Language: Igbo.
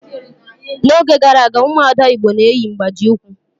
N'oge gara aga, ụmụ ada igbo na-eyi mgbaji ụkwụ